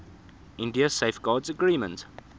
india safeguards agreement